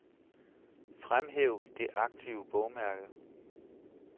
Fremhæv det aktive bogmærke.